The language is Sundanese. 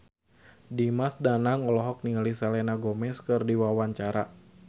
Dimas Danang olohok ningali Selena Gomez keur diwawancara